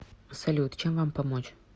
салют чем вам помочь